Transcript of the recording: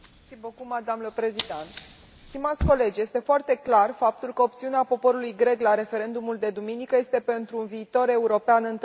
Doamnă președintă, stimați colegi, este foarte clar faptul că opțiunea poporului grec la referendumul de duminică este pentru un viitor european întărit.